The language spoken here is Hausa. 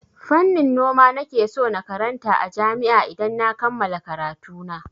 Fannin noma nake so na karanta a jami'a idan na kammala karatuna.